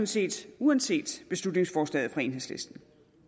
set uanset beslutningsforslaget fra enhedslisten